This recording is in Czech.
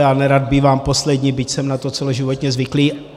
Já nerad bývám poslední, byť jsem na to celoživotně zvyklý.